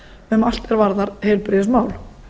um allt er varðar heilbrigðismál